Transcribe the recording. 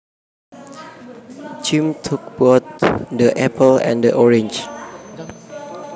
Jim took both the apple and the orange